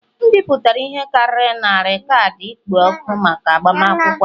M bipụtara ihe karịrị narị kaadị ịkpọ òkù maka agbamakwụkwọ a